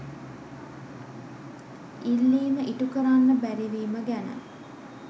ඉල්ලීම ඉටු කරන්න බැරි වීම ගැන.